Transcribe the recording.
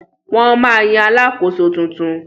Wọ́n ma yan Alakoso tuntun